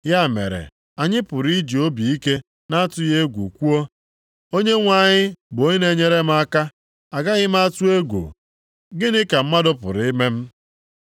Ya mere anyị pụrụ iji obi ike na-atụghị egwu kwuo, “Onyenwe anyị bụ onye na-enyere m aka. Agaghị m atụ egwu. Gịnị ka mmadụ pụrụ ime m?” + 13:6 \+xt Abụ 118:6,7\+xt*